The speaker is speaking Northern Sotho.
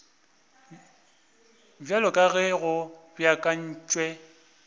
bjalo ka ge go beakantšwe